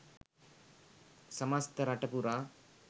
සමස්ත රට පුරා